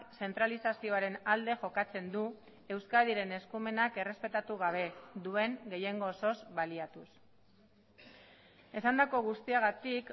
zentralizazioaren alde jokatzen du euskadiren eskumenak errespetatu gabe duen gehiengo osoz baliatuz esandako guztiagatik